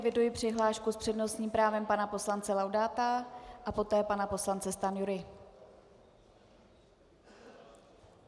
Eviduji přihlášku s přednostním právem pana poslance Laudáta a poté pana poslance Stanjury.